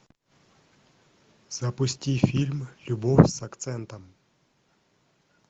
запусти фильм любовь с акцентом